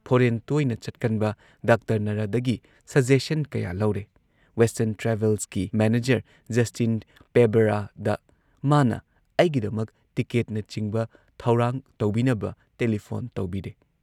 Foreign ꯇꯣꯏꯅ ꯆꯠꯀꯟꯕ doctor ꯅꯔꯗꯒꯤ ꯁꯖꯦꯁꯟ ꯀꯌꯥ ꯂꯧꯔꯦ, ꯋꯦꯁꯇꯔꯟ ꯇ꯭ꯔꯥꯚꯦꯜꯁꯀꯤ ꯃꯦꯅꯦꯖꯔ ꯖꯁꯇꯤꯟ ꯄꯦꯕꯔꯥꯗ ꯃꯥꯅ ꯑꯩꯒꯤꯗꯃꯛ ꯇꯤꯀꯦꯠꯅꯆꯤꯡꯕ ꯊꯧꯔꯥꯡ ꯇꯧꯕꯤꯅꯕ ꯇꯦꯂꯤꯐꯣꯟ ꯇꯧꯕꯤꯔꯦ ꯫